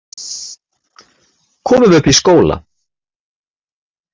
Komum upp í skóla!